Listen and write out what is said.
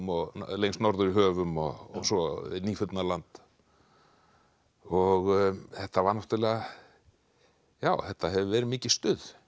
lengst norður í höfum og svo Nýfundnaland og þetta var náttúrlega þetta hefur verið mikið stuð